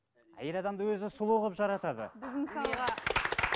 әйел адамды өзі сұлу қылып жаратады